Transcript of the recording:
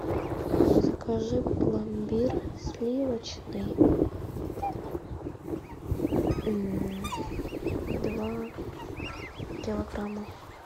закажи пломбир сливочный два килограмма